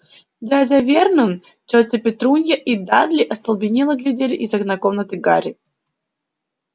дядя вернон тётя петрунья и дадли остолбенело глядели из окна комнаты гарри